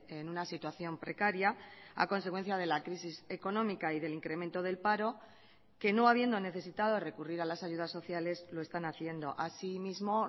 en una situación precaria a consecuencia de la crisis económica y del incremento del paro que no habiendo necesitado recurrir a las ayudas sociales lo están haciendo asimismo